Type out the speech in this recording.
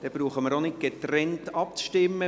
Somit müssen wir nicht getrennt abstimmen.